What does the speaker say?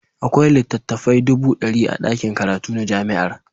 Akwai littattafai dubu ɗari a ɗakin karatu na jami'ar.